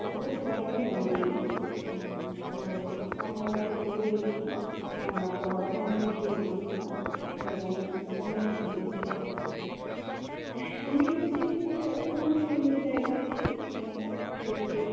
তারিখটা খুব একটা মনে নেই, আহ তো আমরা train এ করে গেছিলাম, আমরা বর্ধমান থেকে train ধরেছিলাম এবং আমরা পুরি পৌঁছেছিলাম পুরি হচ্ছে একটি খুব অপুর্ব সুন্দর জায়গা এবং সমুদ্র